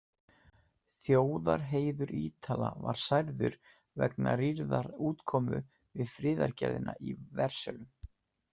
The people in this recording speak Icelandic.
Þjóðarheiður Ítala var særður vegna rýrðar útkomu við friðargerðina í Versölum.